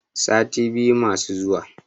sati biyu masu zuwa